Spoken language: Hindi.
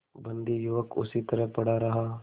बंदी युवक उसी तरह पड़ा रहा